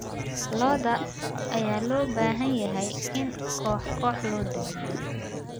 Lo'da ayaa loo baahan yahay in koox koox loo daajiyo.